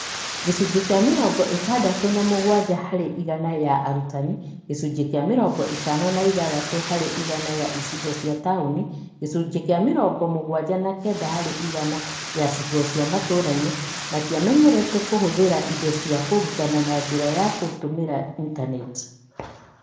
Gĩcunjĩ kĩa mĩrongo-ĩtandatũ na mũgwanja harĩ igana ya arutani (gĩcunjĩ kĩa mĩrongo-ĩtano na ithathatũ harĩ igana ya icigo cia taũni na gĩcunjĩ kĩa mĩrongomugwanja na kenda harĩ igana ya icigo cia matũrainĩ) matiamenyerete kũhũthĩra indo cia kũrutana na njĩra ya gũtumĩra intaneti.